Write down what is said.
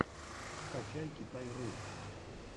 скачай китай ру